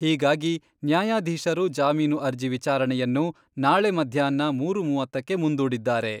ಹೀಗಾಗಿ ನ್ಯಾಯಾದೀಶರು ಜಾಮೀನು ಅರ್ಜಿ ವಿಚಾರಣೆಯನ್ನು ನಾಳೆ ಮಧ್ಯಾಹ್ನ ಮೂರು ಮೂವತ್ತಕ್ಕೆ ಮುಂದೂಡಿದ್ದಾರೆ.